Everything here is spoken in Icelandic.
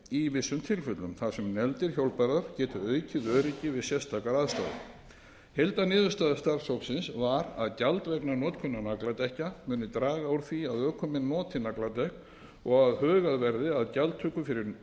í vissum tilfellum þar sem negldir hjólbarðar geti aukið öryggi við sérstakar aðstæður heildarniðurstaða starfshópsins var að gjald vegna notkunar nagladekkja mundi draga úr því að ökumenn notuðu nagladekk og að hugað yrði að gjaldtöku fyrir